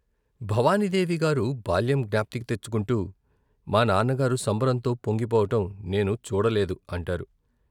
భవానీదేవి గారు బాల్యం జ్ఞప్తికి తెచ్చుకుంటూ మానాన్న గారు సంబరంతో పొంగిపోవటం నేను చూడలేదు అంటారు.